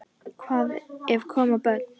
Hvað ef koma börn?